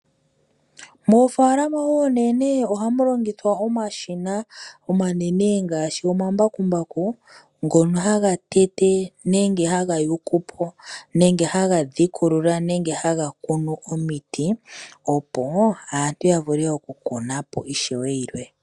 Moofalama oonene ohamu longithwa omashina omanene ngaashi omambakumbaku ngono haga tete nenge haga yukupo nenge haga dhikulula nenge haga kunu omiti opo aantu ya vule okukunapo ishewe yilwe.